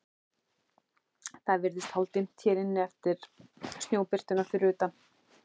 Það virðist hálfdimmt hér inni eftir snjóbirtuna fyrir utan.